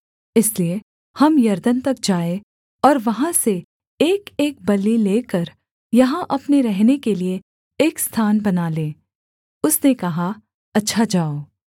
इसलिए हम यरदन तक जाएँ और वहाँ से एकएक बल्ली लेकर यहाँ अपने रहने के लिये एक स्थान बना लें उसने कहा अच्छा जाओ